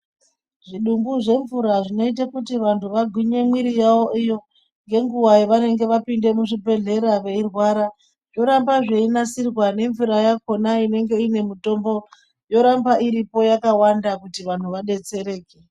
Zvidumbu zvemvura zvinoite kuti vantu vagwinye mwiri yavo iyo ngenguwa yavanenge vapinde muzvibhedhlera veirwara, zvoramba zveinasirwa nemvura yakona inenge ine mutombo yoramba iripo yakawanda kuti vanhu vadetsereke.